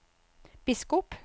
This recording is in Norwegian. biskop